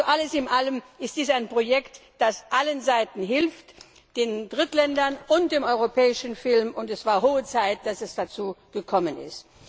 Alles in allem ist dies ein Projekt, das allen Seiten hilft den Drittländern und dem europäischen Film. Es war höchste Zeit, dass es dazu gekommen ist.